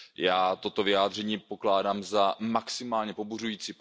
Já toto vyjádření pokládám za maximálně pobuřující.